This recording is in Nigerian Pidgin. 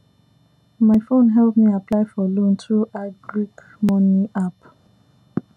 my phone help me apply for loan through agric money app